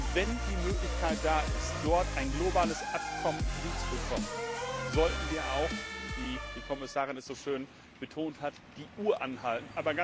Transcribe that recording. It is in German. Und wenn die Möglichkeit besteht, hier ein globales Abkommen hinzubekommen, sollten wir auch wie die Kommissarin es so schön betont hat die Uhr anhalten.